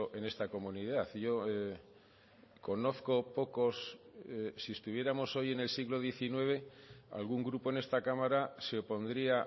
en esta comunidad yo conozco pocos si estuviéramos hoy en el siglo diecinueve algún grupo en esta cámara se opondría